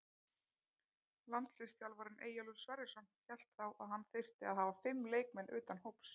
Landsliðsþjálfarinn Eyjólfur Sverrisson hélt þá að hann þyrfti að hafa fimm leikmenn utan hóps.